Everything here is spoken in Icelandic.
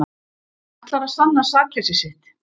Ætlar að sanna sakleysi sitt